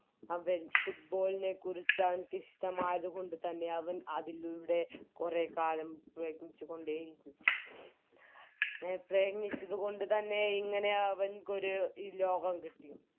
അവൻ Football നെ ക്കുറിച്ച് അവന്ക്ക് ഇഷ്ടമായത് കൊണ്ട് തന്നെ അവൻ അതിലൂടെ കൊറേ കാലം പ്രയത്നിച്ചുകൊണ്ടേയിരുന്നു പ്രയത്നിച്ചത് കൊണ്ട് തന്നെ ഇങ്ങനെ അവന് ക്കൊരു ലോകം കിട്ടി